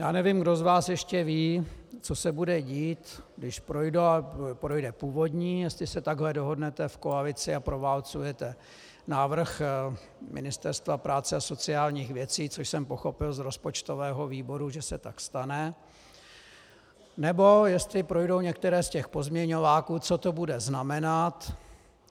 Já nevím, kdo z vás ještě ví, co se bude dít, když projde původní, jestli se takhle dohodnete v koalici a proválcujete návrh Ministerstva práce a sociálních věcí, což jsem pochopil z rozpočtového výboru, že se tak stane, nebo jestli projdou některé z těch pozměňováků, co to bude znamenat.